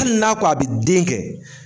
Hali n'a ko a bi den kɛ